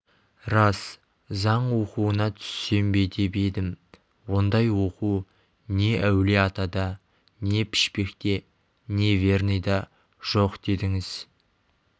рас заң оқуына түссем бе деп едім ондай оқу не әулие-атада не пішпекте не верныйда жоқ дедіңіз